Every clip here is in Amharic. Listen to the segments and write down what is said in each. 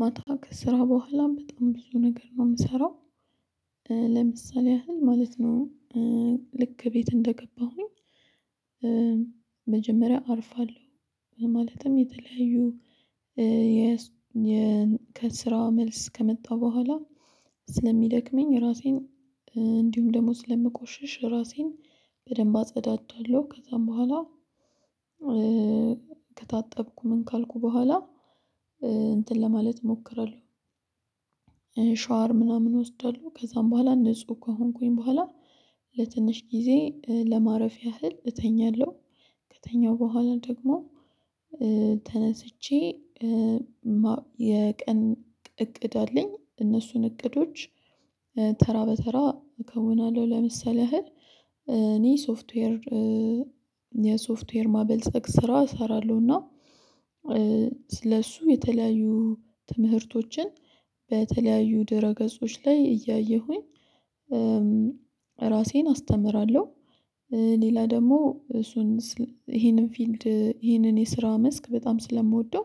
ማታ ከስራ በኋላም በጣም ብዙ ነገር ነው የምሰራው ለምሳሌ ያህል ማለት ነው። ልክ ቤት እንደገባሁኝ መጀመሪያ አርፋለሁ ማለትም የተለያዩ ከስራ መልስ ከመጣ በኋላ ስለሚደክመኝ ራሴን እንዲሁም ደግሞ ስለምቆሽሽ ራሴን በደንብ አጸዳዳለሁ ከዛም በኋላ ከታጠብኩ ምን ካልኩ በኋላ እንትን ለማለት እሞክራለሁ። ሻወር ምናምን እወስዳለሁ ከዛም በኋላ ንጹህ ከሆንኩኝ በኋላ ለትንሽ ጊዜ ለማረፍ ያህል እተኛለሁ። ከተኛሁ በኋላ ደግሞ ተነስቼ የቀን እቅድ አለኝ እነሱን እቅዶች ተራ በተራ እከውናለሁ። ለምሳሌ ያህል እኔ ሶፍትዌር የሶፍትዌር ማበልጸግ ስራ እሰራለሁና ለሱ የተለያዩ ትምህርቶችን በተለያዩ ድህረ ገጾች ላይ እያየሁኝ ራሴን አስተምራለሁ። ሌላ ደግሞ እሱን ይሄንን ፊልድ ይሄንን የስራ መስክ በጣም ስለምወደው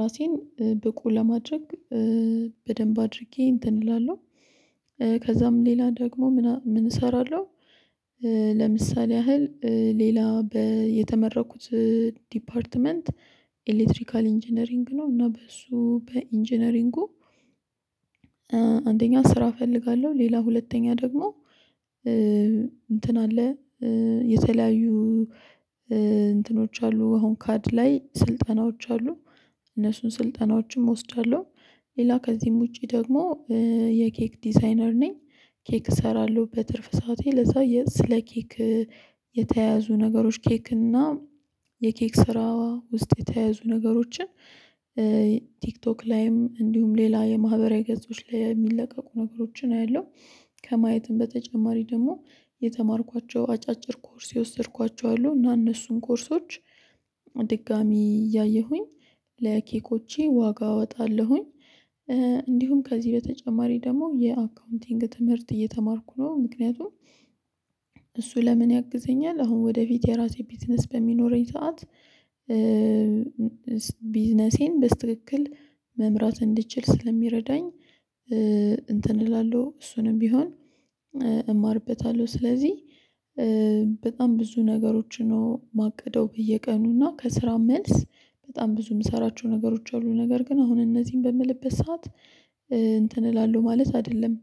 ራሴን ብቁ ለማድረግ በደንብ አድርጌ እንትን እላለሁ ከዛም ሌላ ደግሞ ምን እሰራለሁ። ለምሳሌ ያህል ሌላ የተመርቅኩት ዲፓርትመንት ኤሌክትሪካል ኢንጂነሪንግ ነው እና በሱ በኢንጂነሪንጉ። አንደኛ ስራ እፈልጋለሁ ሌላ ሁለተኛ ደግሞ እንትን አለ የተለያዩ እንትኖች አሉ አሁን ካድ ላይ ስልጠናዎች አሉ እነሱን ስልጠናዎችም እወስዳለሁ። ሌላ ከዚህም ውጪ ደግሞ የኬክ ዲዛይነር ነኝ ኬክ እሰራለሁ በትርፍ ሰዓቴ ለዛ ስለ ኬክ የተያዙ ነገሮች ኬክ እና የኬክ ስራ ውስጥ የተያዙ ነገሮችን ቲክቶክ ላይም እንዲሁም ሌላ የማህበራዊ ገጾች ላይ የሚለቀቁ ነገሮችን አያለሁ። ከማየትም በተጨማሪ ደግሞ የተማርኳቸው አጫጭር ኮርስ የወሰድኳቸው አሉ እና እነሱም ኮርሶች ድጋሚ እያየሁኝ ለኬኮቼ ዋጋ እወጣለሁኝ። እንዲሁም ከዚህ በተጨማሪ ደግሞ የአካውንቲንግ ትምህርት እየተማርኩ ነው ምክንያቱም እሱ ለምን ያግዘኛል አሁን ወደፊት የራሴ ቢዝነስ በሚኖረኝ ሰዓት ቢዝነሴን በትክክል መምራት እንድችል ስለሚረዳኝ እንትን እላለሁ እሱንም ቢሆን እማርበታለሁ። ስለዚህ በጣም ብዙ ነገሮች ነው የማቅደው በየቀኑ እና ከስራ መልስ በጣም ብዙ የምሰራቸው ነገሮች አሉ። ነገር ግን አሁን እነዚህን በምልበት ሰዓት እንትን እላለሁ ማለት አይደለም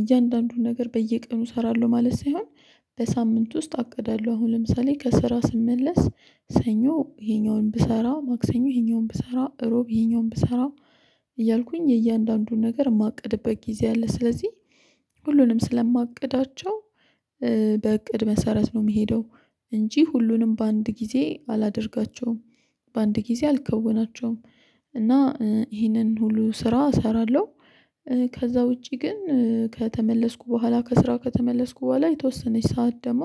እያንዳንዱን ነገር በየቀኑ እሰራለሁ ማለት ሳይሆን በሳምንት ውስጥ አቅዳለሁ። አሁን ለምሳሌ ከስራ ስመለስ ሰኞ ይሄኛውን ብሰራ ማክሰኞ ይሄኛውን ብሰራ ሮብ ይሄኛውን ብሰራ እያልኩኝ የእያንዳንዱን ነገር የማቅድበት ጊዜ አለ ስለዚህ ሁሉንም ስለማቅዳቸው በእቅድ መሰረት ነው የሚሄደው እንጂ ሁሉንም በአንድ ጊዜ አላደርጋቸውም። በአንድ ጊዜ አልከውናቸውም እና ይህንን ሁሉ ስራ እሰራለሁ። ከዛ ውጪ ግን ከተመለስኩ በኋላ ከስራ ከተመለስኩ በኋላ የተወሰነች ሰዓት ደግሞ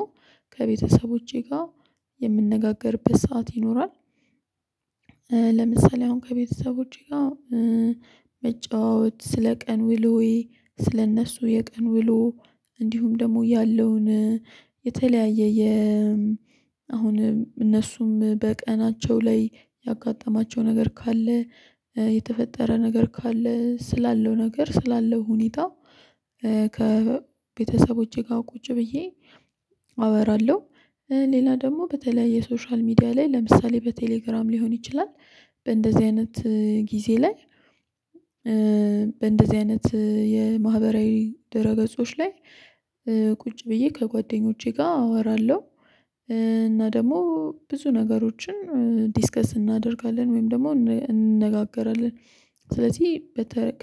ከቤተሰቦቼ ጋር የምንነጋገርበት ሰዓት ይኖራል። ለምሳሌ አሁን ከቤተሰቦቼ ጋር መጫወት ስለ ቀን ውሎዬ ስለእነሱ የቀን ውሎ እንዲሁም ደግሞ ያለውን የተለያየ የ አሁን እነሱም በቀናቸው ላይ ያጋጠማቸው ነገር ካለ የተፈጠረ ነገር ካለ ስላለው ነገር ስላለው ሁኔታ ከቤተሰቦቼ ጋር ቁጭ ብዬ አወራለሁ። ሌላ ደግሞ በተለይ የሶሻል ሚዲያ ላይ ለምሳሌ በቴሌግራም ሊሆን ይችላል በእንደዚህ አይነት ጊዜ ላይ በእንደዚህ አይነት የማህበራዊ ደህረ ገጾች ላይ ቁጭ ብዬ ከጓደኞቼ ጋር አወራለሁ እና ደግሞ ብዙ ነገሮችን ዲስከስ እናደርጋለን ወይም ደግሞ እንነጋገራለን። ስለዚህ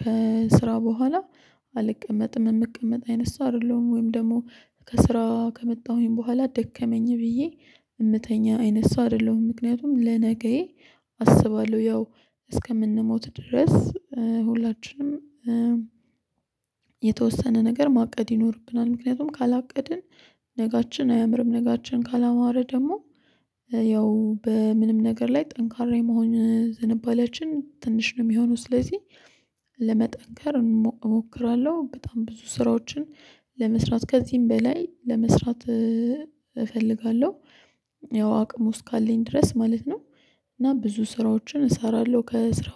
ከስራ በኋላ አልቀመጥም የምቀመጥ አይነት ሰው አይደለሁም ወይም ደግሞ ከስራ ከመጣሁኝ በኋላ ደከመኝ ብዬ የምተኛ አይነት ሰው አይደለሁም። ምክንያቱም ለነገዬ አስባለሁ ያው እስከምንሞት ድረስ ሁላችንም የተወሰነ ነገር ማቀድ ይኖርብናል ምክንያቱም ካላቀድን ነገአችን አያምርም ነገአችን ካላማረ ደግሞ ያው በምንም ነገር ላይ ጠንካራ የመሆን ዝንባሌያችን ትንሽ ነው የሚሆነው ስለዚህ ለመጠንከር እሞክራለሁ። በጣም ብዙ ስራዎችን ለመስራት ከዚህም በላይ ለመስራት እፈልጋለሁ ያው አቅሙ እስካለኝ ድረስ ማለት ነው። እና ብዙ ስራዎችን እሰራለሁ ከስራ